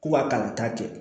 Ko a kalanta kɛ